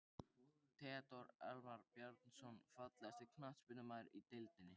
Theodór Elmar Bjarnason Fallegasti knattspyrnumaðurinn í deildinni?